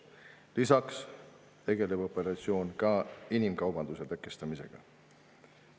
Lisaks tegeldakse inimkaubanduse tõkestamisega.